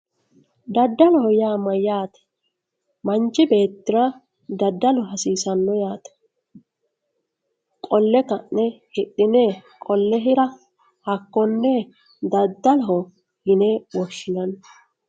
daddaloho yaa mayyate manchi beettira daddalu hasiisanno yaate qolle ka'ne hidhine qolle hira hakkonne daddaloho yine woshshinanni.